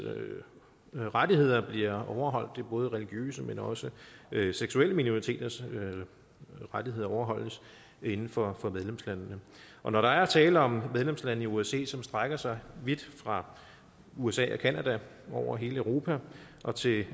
rettigheder bliver overholdt det er både at religiøse men også seksuelle minoriteters rettigheder overholdes inden for medlemslandene og når der er tale om medlemslande i osce som strækker sig vidt fra usa og canada over hele europa og til